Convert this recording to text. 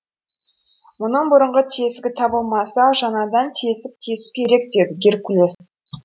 мұның бұрынғы тесігі табылмаса жаңадан тесік тесу керек деді геркулес